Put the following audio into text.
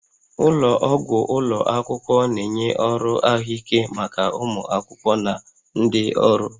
Ụlọ ọgwụ ụlọ akwụkwọ na-enye ọrụ ahụike maka ụmụ akwụkwọ na ndị ọrụ